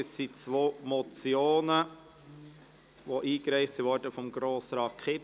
Es sind zwei Motionen, die von Grossrat Kipfer eingereicht wurden.